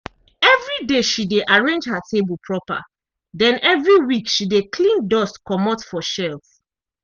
evri day she dey arrange her table proper den evri week she dey clean dust comot for shelf.